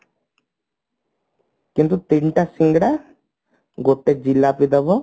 କିନ୍ତୁ ତିନିଟା ସିଙ୍ଗଡା ଗୋଟେ ଜିଲାପି ଦେବ